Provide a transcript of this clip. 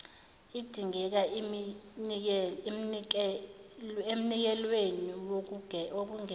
idingeke emnikelweni wokwengezwa